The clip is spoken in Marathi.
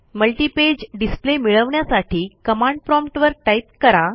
मल्टिपेज डिस्प्ले मिळवण्यासाठी कमांड प्रॉम्प्ट वर टाईप करा